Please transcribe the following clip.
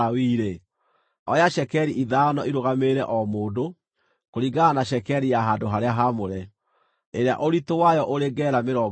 oya cekeri ithano irũgamĩrĩre o mũndũ, kũringana na cekeri ya handũ-harĩa-haamũre, ĩrĩa ũritũ wayo ũrĩ gera mĩrongo ĩĩrĩ.